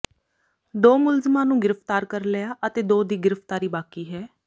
ਦੋ ਮੁਲਜ਼ਮਾਂ ਨੂੰ ਗ੍ਰਿਫਤਾਰ ਕਰ ਲਿਆ ਅਤੇ ਦੋ ਦੀ ਗ੍ਰਿਫਤਾਰੀ ਬਾਕੀ ਹੈ